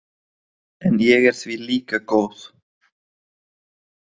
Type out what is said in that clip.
En ég er því líka góð.